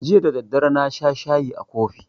Jiya da daddare na sha shayi a kofi